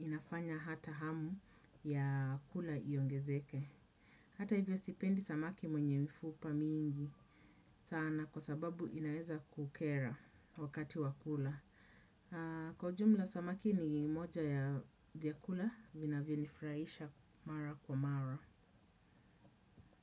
inafanya hata hamu ya kula iongezeke. Hata hivyo sipendi samaki mwenye mfupa mingi sana kwa sababu inaeza kukera wakati wa kula. Kwa jumla samaki ni moja ya vyakula vinavyo nifurahisha mara kwa mara.